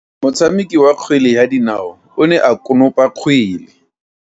Motshameki wa kgwele ya dinao o ne a konopa kgwele.